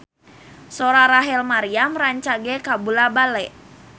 Sora Rachel Maryam rancage kabula-bale